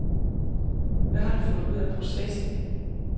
Hvad har du fået ud af processen?